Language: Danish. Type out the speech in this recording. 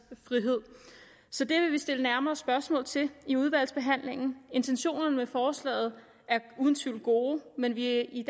frihed så det vil vi stille nærmere spørgsmål til i udvalgsbehandlingen intentionerne med forslaget er uden tvivl gode men vi er i